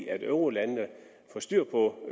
at eurolandene får styr på